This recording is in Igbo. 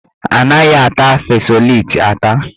Anaghị ata fesoleti ata.